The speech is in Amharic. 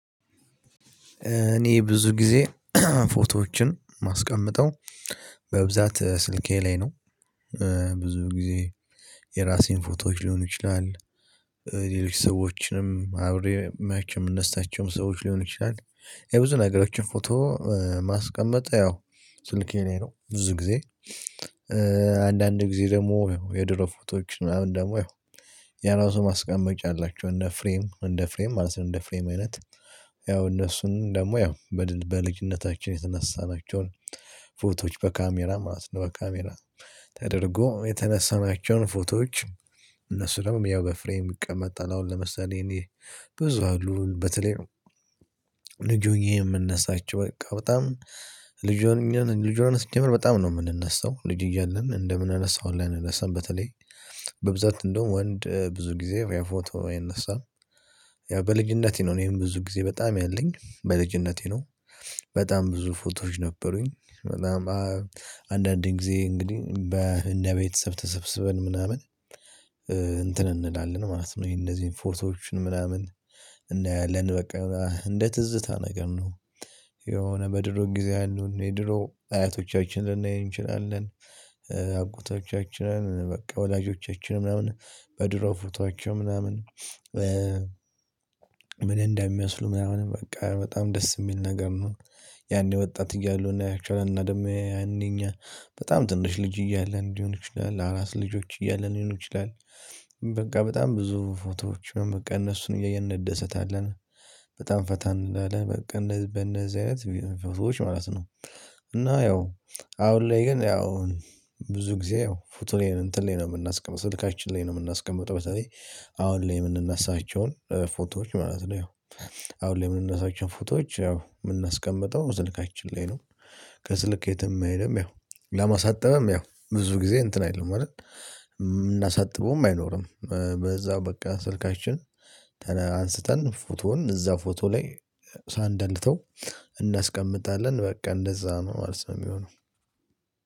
እኔ ብዙ ጊዜ ፎቶዎችን ማስቀመጠው በብዛት ስልኬ ላይ ነው። ብዙ ጊዜ የራሴን ፎቶዎች ሊሆኑ ይችላል። ሌሎች ሰዎችንም አብሬ ማች የምንሰጣቸውም ሰዎች ሊሆን ይችላል። የብዙ ነገሮችን ፎቶ ማስቀመጥ ያው ስልኬን ላይ ነው ብዙ ጊዜ። አንዳንድ ጊዜ ደግሞ የድሮ ፎቶዎች ምናምን ደግሞ ያው የራሱ ማስቀመጫ አላቸው። እንደ ፍሬም እንደ ፍሬም ማለት እንደ ፍሬም አይነት። ያው እነሱን ደግሞ ያው በልጅነታችን የተነሳናቸውን ፎቶዎች በካሜራ ማለት ነው። በካሜራ ተደርጎ የተነሳናቸውን ፎቶዎች እነሱም ያው በፍሬም ይቀመጣል። አሁን ለምሳሌ እኔ ብዙ በተለይ ንግግር የምነሳቸው በቃ በጣም ልጅ ልጅ ልጅ ልጅ ስንጀምር በጣም ነው የምንነሳው ልጅ እያለን እንደምንነሳው ላይ አንነሳም በተለይ በብዛት እንደውም ወንድ ብዙ ጊዜ ፎቶ አይነሳም። ያው በልጅነቴ ነው እኔ ይሄን ብዙ ጊዜ በጣም ያለኝ በልጅነቴ ነው። በጣም ብዙ ፎቶዎች ነበሩኝ። በጣም አንዳንዴ ጊዜ እንግዲህ በእንደ ቤተሰብ ተሰብስበን ምናምን። እንትን እንላለን ማለት ነው ይሄ እንደዚህ ፎቶዎችን ምናምን እናያለን በቃ እንደ ትዝታ ነገር ነው። የሆነ በድሮ ጊዜ አሉ የድሮ አያቶቻችንን ልንናይ እንችላለን። አጎቶቻችንን በቃ ወላጆቻችንን ምናምን በድሮ ፎቶአቸው ምናምን። ምን እንደሚያስሉ ምናምን በቃ በጣም ደስ የሚል ነገር ነው። ያኔ ወጣት እያሉ ነው ያክል እና ደግሞ ያኔ እኛ በጣም ትንሽ ልጅ እያለ ሊሆን ይችላል አላስ ልጆች እያለን ሊሆን ይችላል። በቃ በጣም ብዙ ፎቶዎች እነሱን እየየን እንደሰታለን በጣም ፈታን እንዳለ በቃ በእነዚህ አይነት መንፈሶች ማለት ነው። እና ያው አሁን ላይ ግን ያው ብዙ ጊዜ ያው ፎቶ ላይ እንትን ላይ ነው የምናስቀምጠው ስልካችን ላይ ነው የምናስቀምጠው። በተለይ አሁን ላይ የምንነሳቸውን ፎቶዎች ማለት ነው። አሁን ላይ የምንነሳቸውን ፎቶዎች ያው የምናስቀምጠው ስልካችን ላይ ነው። ከስልክ የትም አይሄድም። ያው ለማሳጠብም ያው ብዙ ጊዜ እንትን አይደለም አይደል የምናሳጥበውም አይኖርም። በዛው በቃ ስልካችን አንስተን ፎቶውን እዛ ፎቶ ላይ ሳንደልተው እናስቀምጣለን በቃ እንደዛ ነው ማለት ነው። የሚሆነው።